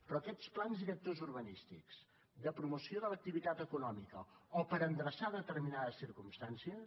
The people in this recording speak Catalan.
però aquests plans directors urbanístics de promoció de l’activitat econòmica o per endreçar determinades circumstàncies